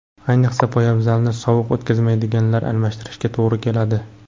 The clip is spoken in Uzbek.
Ayniqsa, poyabzalni sovuq o‘tkazmaydiganiga almashtirishga to‘g‘ri keladi.